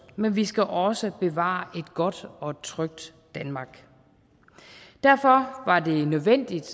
men vi skal også bevare et godt og trygt danmark derfor var det nødvendigt